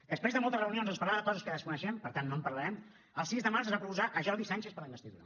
després de moltes reunions on es parlava de coses que desconeixem per tant no en parlarem el sis de març es va proposar jordi sànchez per a la investidura